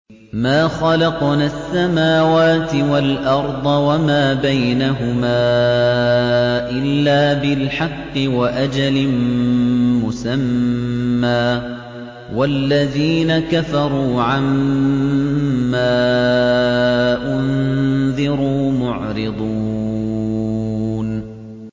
مَا خَلَقْنَا السَّمَاوَاتِ وَالْأَرْضَ وَمَا بَيْنَهُمَا إِلَّا بِالْحَقِّ وَأَجَلٍ مُّسَمًّى ۚ وَالَّذِينَ كَفَرُوا عَمَّا أُنذِرُوا مُعْرِضُونَ